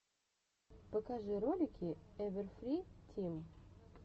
покажи ролики эвэрфри тим